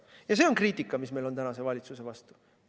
Ja see on kriitika, mis meil on praeguse valitsuse vastu.